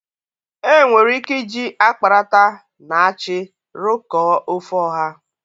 Enwere ike iji akparata na achị rụkọọ ofe ọha.